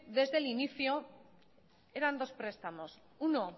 desde el inicio eran dos prestamos uno